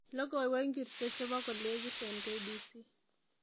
Logoiwek ingircho chebo kolekit eng k.b.c